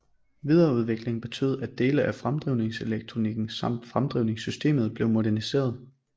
Videreudviklingen betød at dele af fremdrivningselektronikken samt fremdrivningssystemet blev moderniseret